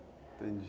Entendi.